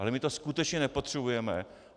Ale my to skutečně nepotřebujeme.